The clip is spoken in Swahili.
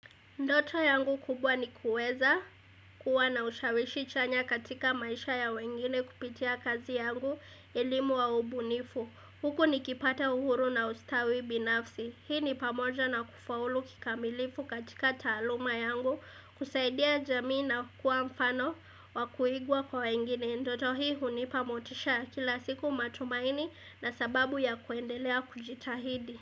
Ndoto yangu kubwa ni kuweza kuwa na ushawishi chanya katika maisha ya wengine kupitia kazi yangu elimu au ubunifu. Huku nikipata uhuru na ustawi binafsi. Hii ni pamoja na kufaulu kikamilifu katika taaluma yangu, kusaidia jamii na kukua mfano wa kuigwa kwa wengine. Nnh Ndoto hii hunipa motisha kila siku matumaini na sababu ya kuendelea kujitahidi.